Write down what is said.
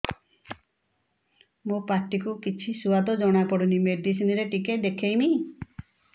ମୋ ପାଟି କୁ କିଛି ସୁଆଦ ଜଣାପଡ଼ୁନି ମେଡିସିନ ରେ ଟିକେ ଦେଖେଇମି